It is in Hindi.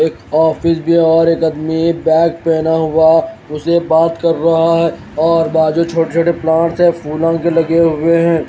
एक ऑफिस बाहर एक आदमी बैग पहना हुआ उसे बात कर रहा है और बाजू छोटे छोटे प्लांट्स हैं फूलों के लगे हुए हैं।